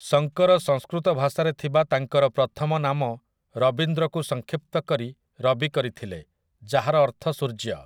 ଶଙ୍କର ସଂସ୍କୃତ ଭାଷାରେ ଥିବା ତାଙ୍କର ପ୍ରଥମ ନାମ ରବିନ୍ଦ୍ରକୁ ସଂକ୍ଷିପ୍ତ କରି ରବି କରିଥିଲେ, ଯାହାର ଅର୍ଥ ସୂର୍ଯ୍ୟ ।